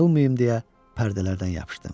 Yıxılmayım deyə pərdələrdən yapışdım.